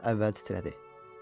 Balıq əvvəl titrədi.